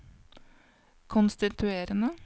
konstituerende